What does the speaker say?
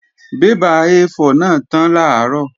Bébà A4 náà tán làárọ̀